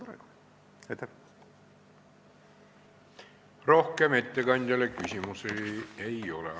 Rohkem ettekandjale küsimusi ei ole.